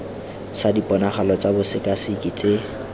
sa diponagalo tsa bosekaseki tse